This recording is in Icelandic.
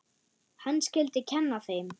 Hann skyldi kenna þeim.